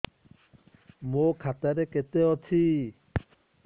ମୋ ଖାତା ରେ କେତେ ଅଛି